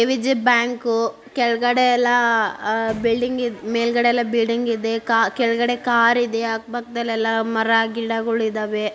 ವಿಜಯ bank. ಕೆಳಗಡೆ ಎಲ್ಲ ಅಹ್ ಬಿಲ್ಡಿಂಗ್ ಮೇಲ್ಗಡೆಯಲ್ಲ ಬಿಲ್ಡಿಂಗ್ ಇದೆ. ಕಾರ್ ಕೆಳಗಡೆ ಕಾರಿದೆ ಅಕ್ಕ ಪಕ್ಕದಲ್ಲಿ ಎಲ್ಲಾ ಮರ ಗಿಡಗಳಿದವೇ.